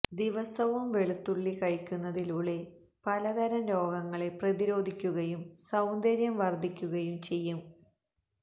ദിവസവും വെളുത്തുള്ളി കഴിക്കുന്നതിലൂടെ പലതരം രോഗങ്ങളെ പ്രതിരോധിക്കുകയും സൌന്ദര്യം വർധിപ്പിക്കുകയും ചെയ്യാം